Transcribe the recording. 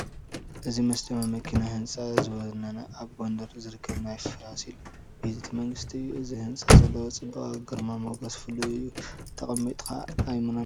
እዚ መስደመሚ ኪነ ህንፃ ዝወነነ ኣብ ጐንደር ዝርከብ ናይ ፋሲል ቤተ መንግስቲ እዩ፡፡ እዚ ህንፃ ዘለዎ ፅባቐን ግርማ ሞገስን ፍሉይ እዩ፡፡ ጠሚትካ ኣይሙናን፡፡